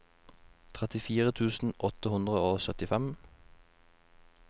trettifire tusen åtte hundre og syttifem